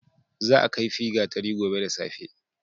Za a kaifi gatari gobe da safe.